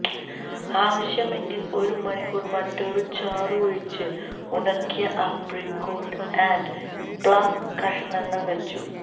ആവശ്യമെങ്കിൽ ഒരു മണിക്കൂർ മറ്റൊരു ചാറു ഒഴിച്ചു ഉണക്കിയ ആപ്രിക്കോട്ട് ആൻഡ് പ്ളം കഷണങ്ങൾ വെച്ചു